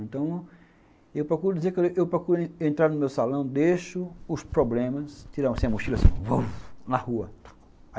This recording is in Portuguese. Então, eu procuro dizer, eu procuro entrar no meu salão, deixo os problemas, tirar um sem mochila, assim, na rua.